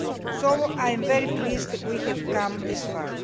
So I am very pleased that we have come this far.